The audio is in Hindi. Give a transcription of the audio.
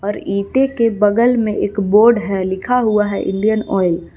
और इटे के बगल में एक बोर्ड है लिखा हुआ है इंडियन ऑयल ।